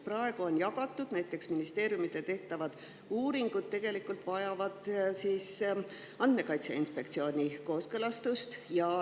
Praegu vajavad näiteks ministeeriumide tehtavad uuringud Andmekaitse Inspektsiooni kooskõlastust.